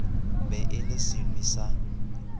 be e le senwi sa